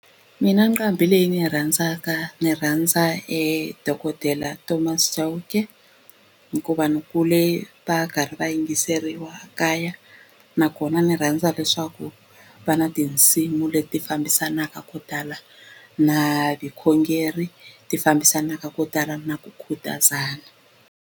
Mina nqambi leyi ndzi yi rhandzaka ni rhandza dokodela Thomas Chauke hikuva ni kule va karhi va yingiseriwa kaya nakona ni rhandza leswaku va na tinsimu leti fambisanaka ko tala na vukhongeri ti fambisanaka ko tala na ku khutazana.